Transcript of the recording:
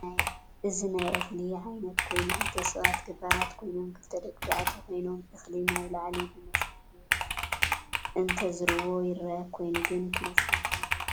እዚ ናይ እክሊ ዓይነት ኮይኑ ክልተ ሳባት ገባርት ኮይኖም ክልተ ደቂተባዕትዮ ኮይኖም እክሊ ናብ ላዕሊ ብመሰርሕ ገይሮ እተዝርዎ ይርእ ኮይኑ ግን እቲ መሳርሕ እንታይ ተበሂሉ ይፅዋዕ?